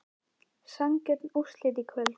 Sanngjörn úrslitin í kvöld?